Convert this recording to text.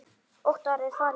Óttar er farinn.